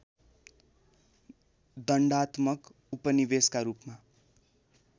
दण्डात्मक उपनिवेशका रूपमा